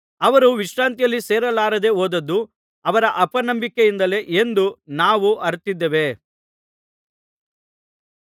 ಅವರು ವಿಶ್ರಾಂತಿಯಲ್ಲಿ ಸೇರಲಾರದೇ ಹೋದದ್ದು ಅವರ ಅಪನಂಬಿಕೆಯಿಂದಲೇ ಎಂದು ನಾವು ಅರಿತಿದ್ದೇವೆ